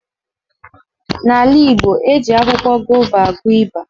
N'ala Igbo, eji akwụkwọ gova agwọ ịba.